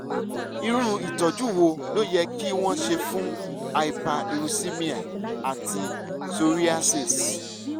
irú ìtọ́jú wo ló yẹ kí wọ́n ṣe fún hyperuricemia àti psoriasis?